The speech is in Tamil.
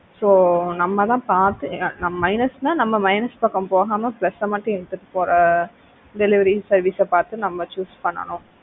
so நம்ம தான் பார்த்து நம்ம minus னா நம்ம minus பக்கம் போகாம plus அ மட்டும் எடுத்துட்டு போற ஆஹ் delivery service பார்த்து நம்ம choose பண்ணனும்.